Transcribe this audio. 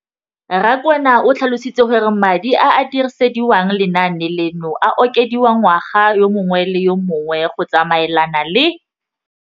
Rakwena o tlhalositse gore madi a a dirisediwang lenaane leno a okediwa ngwaga yo mongwe le yo mongwe go tsamaelana le.